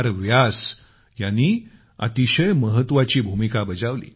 व्यास यांनी अतिशय महत्वाची भूमिका बजावली